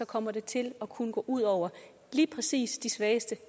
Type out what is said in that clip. kommer det til at kunne gå ud over lige præcis de svageste